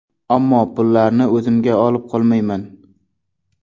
Ammo pullarni o‘zimga olib qolmayman.